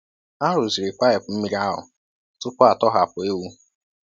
A rụziri paịpụ mmiri ahụ tupu a tọhapụ ewu.